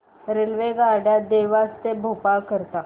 रेल्वेगाड्या देवास ते भोपाळ करीता